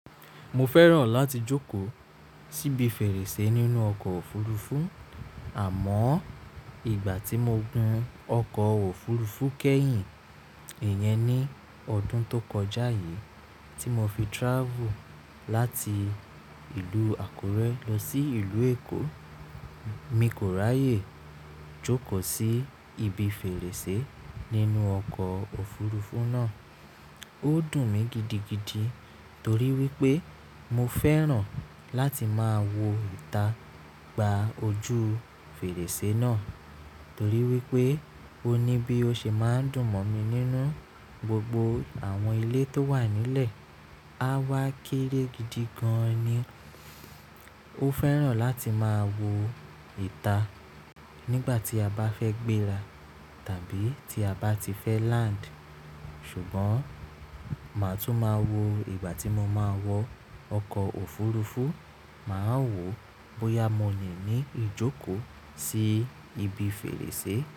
Mo fẹ́ràn láti jókòó síbi fèrèsé nínú ọkọ̀ òfurufú. Àmọ́ ìgbà tí mo gùn ọkọ̀ òfurufú kẹ́yìn, ìyẹn ní ọdún tó kọjá yìí tí mo fi trafù láti ìlú Àkúrẹ́ lọ sí ìlú Èkó, mi kò ráyè jókòó sí ibi fèrèsé nínú ọkọ̀ òfurufú náà. Ó dùn mí gidigidi torí wípé mo fẹ́ràn láti máa wo ìta gba ojú fèrèsé náà torí wípé ó ní bí ó ṣe máa ń dùn mọ̀ mí nínú gbogbo àwọn ilé tó wà nílẹ̀. A wá kéré gidi gan ni. Ó fẹ́ràn láti máa wo ìta nígbà tí a bá fẹ́ gbéra tàbí tí a bá ti fẹ́ land. Ṣùgbọ́n màá tún máa wo ìgbà tí mo máa wọ ọkọ̀ òfurufú, màá wo bóyá mo lè ní ijókòó sí ibi fèrèsé.